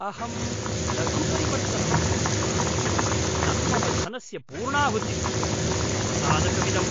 अहं लघु परिवर्तनं याचितवान्, न तु मम धनस्य पूर्णाहुतिं! अवसादकमिदम्।